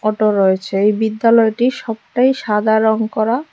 Auto রয়েছে এই বিদ্যালয়টি সবটাই সাদা রঙ করা।